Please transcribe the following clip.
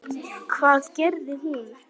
Hvað gerði hún?